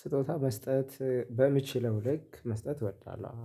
ስጦታ መስጠት እ በምችለው ልክ መስጠት እወዳለሁ።